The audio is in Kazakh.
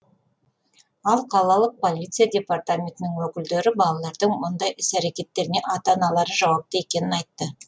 ал қалалық полиция департаментінің өкілдері балалардың мұндай іс әрекеттеріне ата аналары жауапты екенін айтты